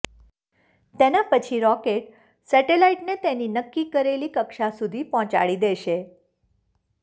તેના પછી રોકેટ સેટેલાઈટને તેની નક્કી કરેલી કક્ષા સુધી પહોંચાડી દેશે